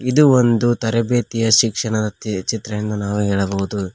ಇದು ಒಂದು ತರಬೇತಿಯ ಶಿಕ್ಷಣದ ತಿ ಚಿತ್ರ ಎಂದು ನಾವು ಹೇಳಬಹುದು.